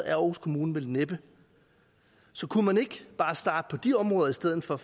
er aarhus kommune vel næppe så kunne man ikke bare starte på de områder i stedet for